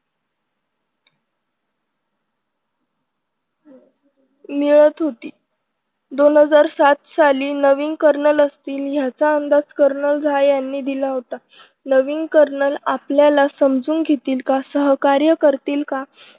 मिळत होती दोन हजार सात साली नवीन कर्नल असतील याचा अंदाज कनरलझा यांनी दिला होता. नवीन कर्नल आपल्याला समजून घेतील का? सहकार्य करतील का?